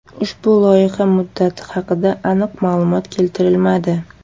Ushbu loyiha muddati haqida aniq ma’lumot keltirilmadi.